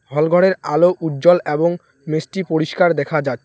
হলঘরের আলো উজ্জ্বল অ্যাবং মিষ্টি পরিষ্কার দেখা যাচ্ছে।